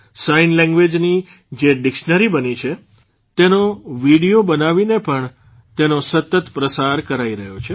sign લેંગ્વેઝની જે dictionary બની છે તેનો વિડિયો બનાવીને પણ તેનો સતત પ્રસાર કરાઇ રહ્યો છે